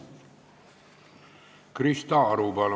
Krista Aru, palun!